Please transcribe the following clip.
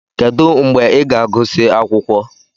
Kedu mgbe ị ga-agụsị akwụkwọ?